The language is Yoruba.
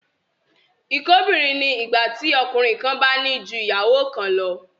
Ìkóbìnrin ni ìgbà tí ọkùnrin kan bá ní ju ìyàwó kan lọ